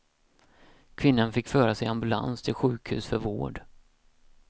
Kvinnan fick föras i ambulans till sjukhus för vård.